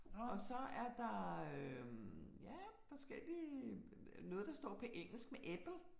Og så er der øh ja forskellige noget der står på engelsk med apple